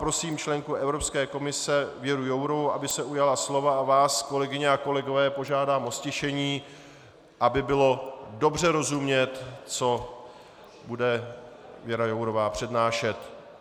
Prosím členku Evropské komise Věru Jourovou, aby se ujala slova, a vás, kolegyně a kolegové, požádám o ztišení, aby bylo dobře rozumět, co bude Věra Jourová přednášet.